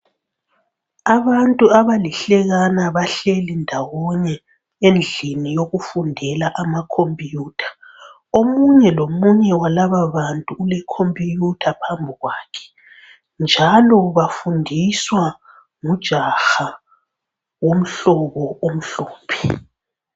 Abantu abalihlekana bahleli ndawonye endlini yokufundela ama khompiyutha. Omunye lomunye walaba bantu ule khompiyutha phambi kwakhe njalo bafundiswa ngujaha omhlobo omhlophe.